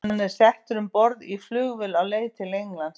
Hann er settur um borð í flugvél á leið til Englands.